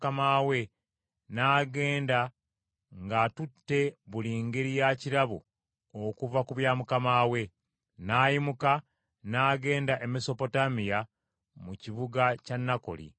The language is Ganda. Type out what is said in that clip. Awo omuddu n’atwala ku ŋŋamira za mukama we n’agenda ng’atutte buli ngeri ya kirabo okuva ku bya mukama we. N’ayimuka n’agenda e Mesopotamiya mu kibuga kya Nakoli.